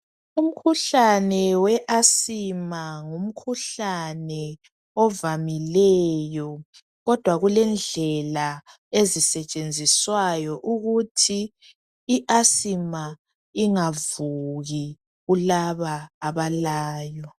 Umkhuhlane we Asthma ngumkhuhlane ovamileyo kodwa kulendlela ezisetshenziswayo ukuthi iAsthma ingavuki kulaba abalayo.